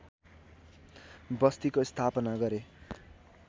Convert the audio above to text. बस्तीको स्थापना गरे